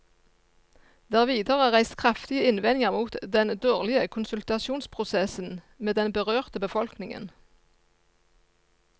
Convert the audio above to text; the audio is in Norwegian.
Det er videre reist kraftige innvendinger mot den dårlige konsultasjonsprosessen med den berørte befolkningen.